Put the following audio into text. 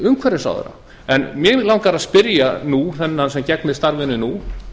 umhverfisráðherra en mig langar að spyrja nú þennan sem gegnir starfinu nú